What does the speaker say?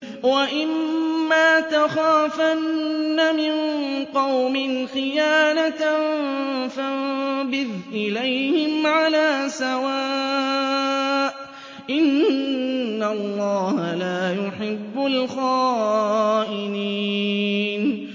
وَإِمَّا تَخَافَنَّ مِن قَوْمٍ خِيَانَةً فَانبِذْ إِلَيْهِمْ عَلَىٰ سَوَاءٍ ۚ إِنَّ اللَّهَ لَا يُحِبُّ الْخَائِنِينَ